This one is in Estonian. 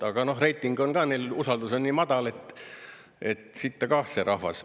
Aga noh, reiting on ka neil, usaldus on nii madal, et sitta kah see rahvas.